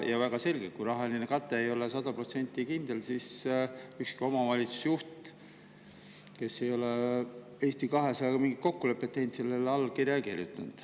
On väga selge, et kui rahaline kate ei ole sada protsenti kindel, siis ükski omavalitsusjuht, kes ei ole Eesti 200-ga mingit kokkulepet teinud, sellele alla ei kirjuta.